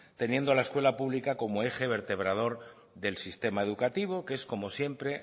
teniendo a la escuela pública como eje vertebrador del sistema educativo que es como siempre